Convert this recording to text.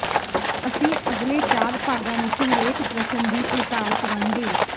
ਅਸੀਂ ਅਗਲੇ ਚਾਰ ਭਾਗਾਂ ਵਿੱਚ ਹਰੇਕ ਪ੍ਰਸ਼ਨ ਦੀ ਪੜਤਾਲ ਕਰਾਂਗੇ